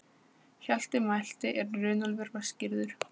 Hjalti mælti er Runólfur var skírður